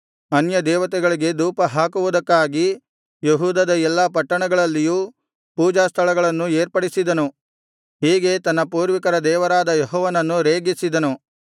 ಅನ್ಯದೇವತೆಗಳಿಗೆ ಧೂಪಹಾಕುವುದಕ್ಕಾಗಿ ಯೆಹೂದದ ಎಲ್ಲಾ ಪಟ್ಟಣಗಳಲ್ಲಿಯೂ ಪೂಜಾಸ್ಥಳಗಳನ್ನು ಏರ್ಪಡಿಸಿದನು ಹೀಗೆ ತನ್ನ ಪೂರ್ವಿಕರ ದೇವರಾದ ಯೆಹೋವನನ್ನು ರೇಗಿಸಿದನು